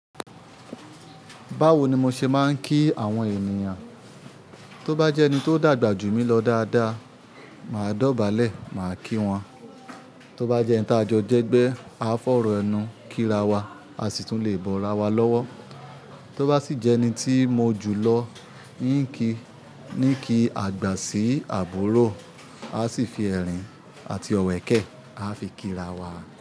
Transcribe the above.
Báwo ni mo ṣe máa ń kí àwọn ènìyàn? Tó bá jẹ́ ẹni tó dàgbà jù mí lọ dáadáa, màá dọ̀bálẹ̀ màá kí wọn. Tó bá jẹ́ ẹni tá jọ jẹ́ gbẹ́, a fọ́rò ẹnu kírawà, a sì tún le bọ́rawà lọ́wọ́. Tó bá sì jẹ́ ẹni tí mo jù lọ, yín kí, ní kí àgbà sí àbúrò, a sì fi ẹ̀rín àti ọ̀wẹ̀kẹ́ a fi kírawà.